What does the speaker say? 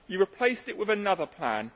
You replaced it with another plan.